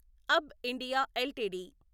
అబ్బ్ India LTD